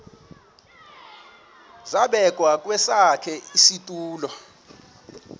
zabekwa kwesakhe isitulo